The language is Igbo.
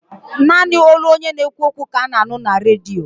Naanị olu onye na-ekwu okwu ka ana-anụ na Redio.